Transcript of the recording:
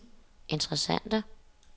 interessante